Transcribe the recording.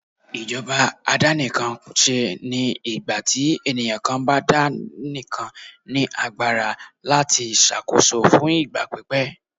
ìjọba àdàníkánsé ní ìgbàtí eniyan kan bá daníkán ní agbara latí ṣàkóso fún ìgbà pípẹ́.